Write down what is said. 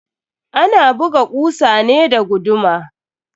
Ana buga kusa ne da guduma.